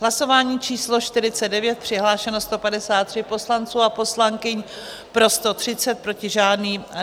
Hlasování číslo 49, přihlášeno 153 poslanců a poslankyň, pro 130, proti žádný.